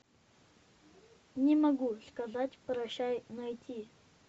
не могу сказать прощай найти